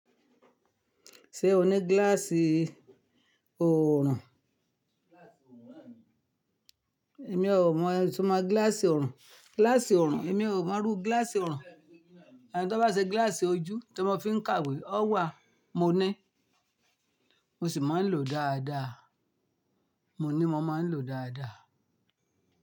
Ṣé o ní gíláàsì oòrùn? Èmi ò mọ̀, itumọ gíláàsì oòrùn. Gíláàsì oòrùn èmi ò mọrú gíláàsì oòrùn. Ṣùgbọ́n tó bá ṣe gíláàsì ojú tí wọ́n fi ń kàwé, ó wà. Mo ní. Mo sì máa ń lò ó dáadáa. Mo ní mo máa ń lò ó dáadáa.